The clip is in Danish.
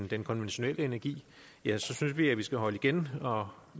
den konventionelle energi synes vi at vi skal holde igen og